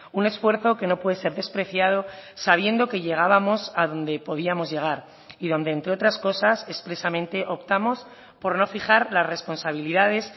un esfuerzo que no puede ser despreciado sabiendo que llegábamos a donde podíamos llegar y donde entre otras cosas expresamente optamos por no fijar las responsabilidades